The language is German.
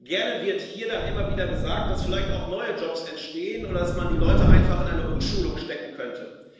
Gerne wird hier dann immer wieder gesagt, dass vielleicht auch neue Jobs entstehen und dass man die Leute einfach in eine Umschulung stecken könnte.